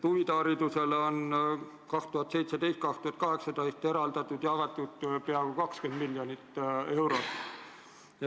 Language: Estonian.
Huviharidusele jagati 2017/2018 peaaegu 20 miljonit eurot.